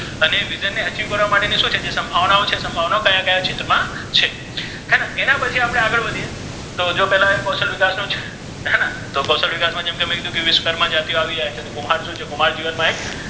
વિધાન ને achieve કરવા માટે શુ છે જે સમ્ભાવના છે સમ્ભાવના ક્યા ક્યાઓ પેલા ચિત મા છે હે ને એના પછી આપડે આગળ વધિયે તો જો પેલા એક કૌશલ વિકાસ નુ છે હે ને તો કૌશલ વિકાસ મા બધી વિશ્વકર્મા જાતિઓ આવિ જાય કુંભાર શુ છે કુંભાર જિવન મા એ,